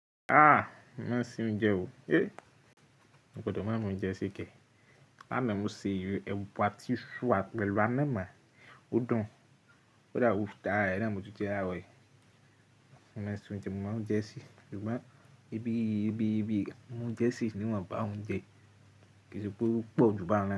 Ah! Mo máa ń ṣe oúnjẹ o. Hé! Mi ò gbọdọ̀ máa ma oúnjẹ se ke. Láàna mo sè ẹ̀wà àti iṣu àti pẹ̀lú anama. Ó dùn. Ó dáwù táa, arare na ni mo tún jẹ laroyii. Mo máa ń ṣe oúnjẹ, mo máa oúnjẹ ṣe, ṣùgbọ́n ibi, ibi, ibi mo ń jẹ sí níwọ̀n bá òun jẹ kì í ṣe pé ó pọ̀ jù bá òun lo.